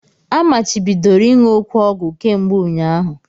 A machibidoro ịṅụ òké ọgwụ kemgbe ụnyaahụ!